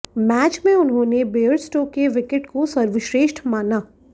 match में उन्होंने Bairstow के विकेट को सर्वश्रेष्ठ माना